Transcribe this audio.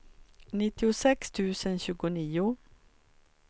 nittiosex tusen tjugonio